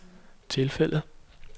tilfældet